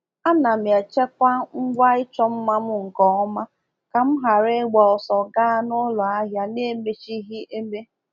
Ana m echekwa ngwa ịchọ mma m nke ọma ka m ghara ịgba ọsọ gaa n'ụlọ ahịa n’emechighị eme.